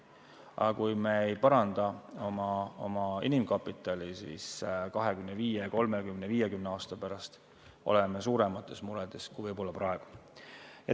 Aga kui me ei paranda oma inimkapitali, siis 25, 30, 50 aasta pärast on meil suuremad mured, kui on võib-olla praegu.